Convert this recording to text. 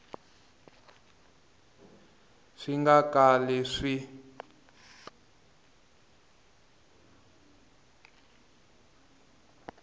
a swi nga kali swi